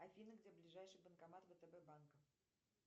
афина где ближайший банкомат втб банка